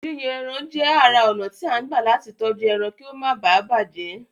Yíyan ẹran jẹ́ ara ònà tí à ń gbà latí tọ́jú ẹran kí ó máa bàjẹ́